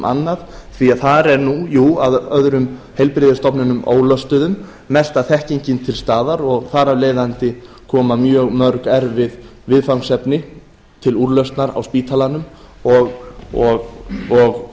annað því þar er nú jú að öðrum heilbrigðisstofnunum ólöstuðum mesta þekkingin til staðar og þar af leiðandi koma mjög mörg erfið viðfangsefni til úrlausnar á spítalanum og